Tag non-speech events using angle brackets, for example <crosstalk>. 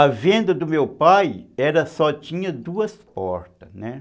A venda do meu pai <unintelligible> só tinha duas portas, né?